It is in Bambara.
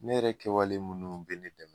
Ne yɛrɛ kɛwalen munnu bɛ ne dɛmɛ.